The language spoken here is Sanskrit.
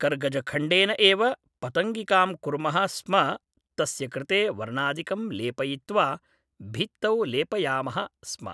कर्गजखण्डेन एव पतङ्गिकां कुर्मः स्म तस्य कृते वर्णादिकं लेपयित्वा भित्तौ लेपयामः स्म